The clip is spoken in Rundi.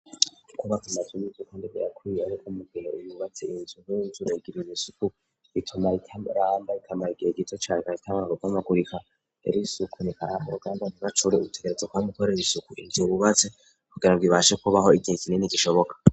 Kubazamavimigukondeme yakwiye, ariko mugira imubatse inzu nk'y'unzurugiraimisuku ituma itaramba rikamaye igihe gito carka kitamanarugamagurika erisi uku nikaraba urugamba ntigacure urutegerezo kwange ikorere isuku inzububatse kugira ngwibashe kubaho igihe kinini gishoboka.